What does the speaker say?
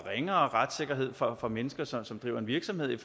ringere retssikkerhed for for mennesker som som driver en virksomhed i